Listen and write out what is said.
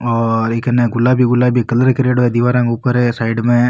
और ई कने गुलाबी गुलाबी कलर करेडो है दिवारा के ऊपर साइड में।